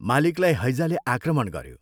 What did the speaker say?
" मालिकलाई हैजाले आक्रमण गऱ्यो।